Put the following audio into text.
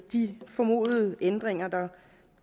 de formodede ændringer der